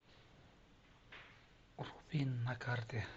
рубин на карте